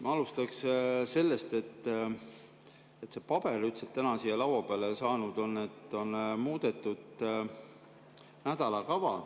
Ma alustan sellest, et see paber, mis täna on siia laua peale saanud, ütleb, et on muudetud nädalakava.